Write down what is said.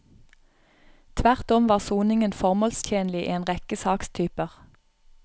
Tvert om var soningen formålstjenlig i en rekke sakstyper.